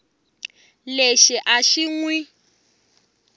lexi a xi n wi